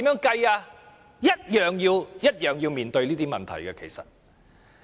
其實亦同樣要面對這些問題。